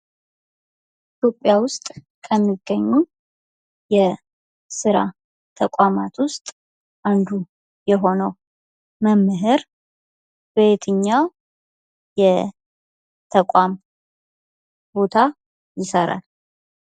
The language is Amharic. ኢትዮጵያ ውስጥ ከሚገኙ የስራ ተቋማት ውስጥ አንዱ የሆነው መምህር በትኛው የተቋም ቦታ ይሰራል?